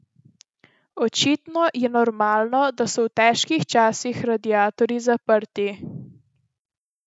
Očitno je normalno, da so v težkih časih radiatorji zaprti.